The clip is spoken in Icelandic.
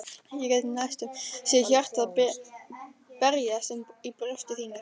Ég get næstum séð hjartað berjast um í brjósti þínu.